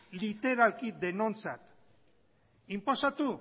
literalki denontzat inposatu